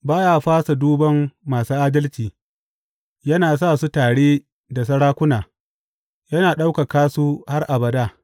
Ba ya fasa duban masu adalci; yana sa su tare da sarakuna yana ɗaukaka su har abada.